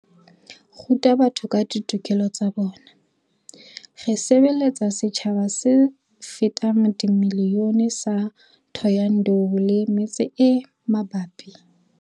ruta batho ka ditokelo tsa bona. Re sebeletsa setjhaba se fetang miliyone sa Thohoyandou le metse e mabapi.